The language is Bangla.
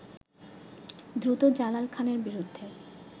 দ্রুত জালাল খানের বিরুদ্ধে